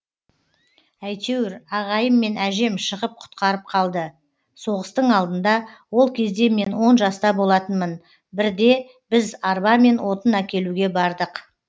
әйтеуір ағайым мен әжем шығып құтқарып қалды соғыстың алдында ол кезде мен он жаста болатынмын бірде біз арбамен отын әкелуге бардық